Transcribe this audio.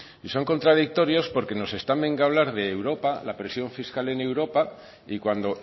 son contradictorios porque nos están venga hablar de europa de la presión fiscal en europa y cuando